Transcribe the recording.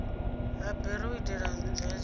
ha bere u itela nzwaliso